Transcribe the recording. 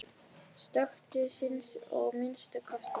Stöku sinnum að minnsta kosti.